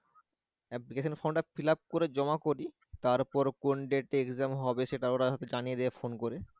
application form fillup করে জমা করি তারপরে কোন date এ exem হবে সেটা ওরা হয়তো জানিয়ে দিবে phone করে